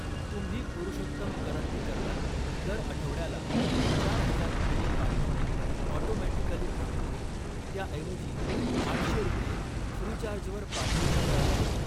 तुम्ही पुरुषोत्तम करंदीकरला दर आठवड्याला चार हजार रुपये पाठवणे ऑटोमॅटिकली थांबवून, त्याऐवजी आठशे रुपये फ्रीचार्ज वर पाठवू शकता का?